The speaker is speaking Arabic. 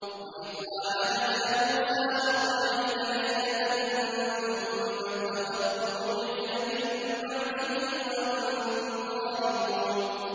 وَإِذْ وَاعَدْنَا مُوسَىٰ أَرْبَعِينَ لَيْلَةً ثُمَّ اتَّخَذْتُمُ الْعِجْلَ مِن بَعْدِهِ وَأَنتُمْ ظَالِمُونَ